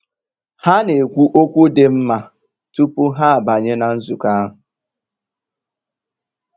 Há nà-ékwú ókwú dị́ nmá túpú há àbányé nà nzụ̀kọ́ áhụ̀.